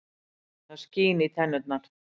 Það skín í tennurnar.